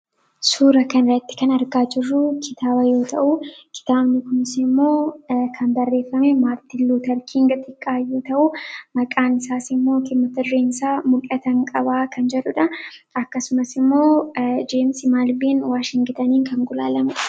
Suuraa kanarratti kan argaa jirru kitaaba yoo ta'u, kitaabni kunisimmoo kan barreeffame Maartin Luuter King xiqqaa yoo ta'u, maqaan isaasimmoo mata dureen isaa'mul'atan qaba' kan jedhudha. Akkasumas immoo Jemsi Maalviin Washingten kan gulaalamedha.